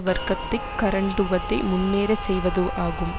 வர்க்கத்தை கரண்டுவதை முன்னேறச் செய்வது ஆகும்